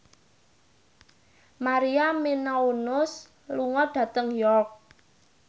Maria Menounos lunga dhateng York